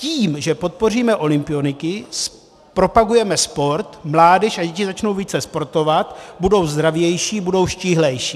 Tím, že podpoříme olympioniky, zpropagujeme sport, mládež a děti začnou více sportovat, budou zdravější, budou štíhlejší.